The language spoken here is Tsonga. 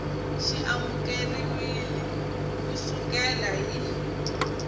xi amukeriwile ku sukela hi